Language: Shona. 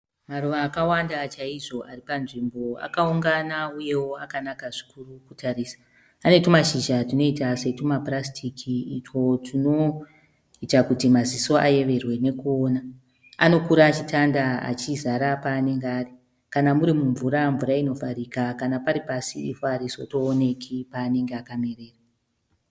Maruva akawanda chaizvo ari panzvimbo. Akaungana uyewo akanaka zvikuru kutarisa. Ane twumashizha twunoita setwumapurasitiki utwo twunoita kuti maziso ayeverwe nokuona. Anokura achitanda achizara paanenge ari, kana muri mumvura, mvura inovharika kana pari pasi ivhu haritozooneki paanenge akamerera.